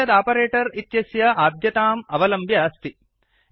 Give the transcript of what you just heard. एतत् आपरेटर् इत्यस्य आद्यताम् आवलम्ब्य अस्ति